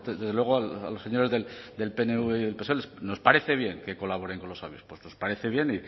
desde luego a los señores del pnv y el psoe nos parece bien que colaboren con los obispos nos parece bien